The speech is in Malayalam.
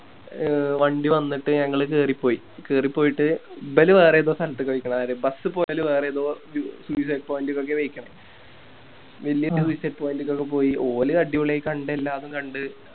എ വണ്ടി വന്നിട്ട് ഞങ്ങള് കേറി പോയി കേറി പോയിട്ട് ഇബാല് വേറേതോ സ്ഥലത്ത്ക്ക് പോയിക്ക്ണ് ആര് Bus പോയാല് വേറേതോ Suicide point ക്ക് ഒക്കെ പോയിക്കണ് വല്യ Suicide point ലേക്കൊക്കെ പോയി ഓല് അടിപൊളിയായി കണ്ട് എല്ലാതും കണ്ട്